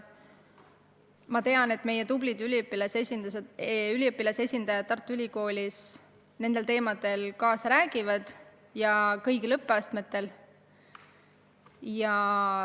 Ma tean, et meie tublid üliõpilasesindajad räägivad Tartu Ülikoolis nendel teemadel kaasa kõigil õppeastmetel.